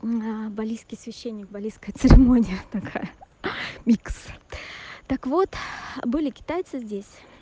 балийский священник балийская церемония такая ха-ха микс так вот были китайцы здесь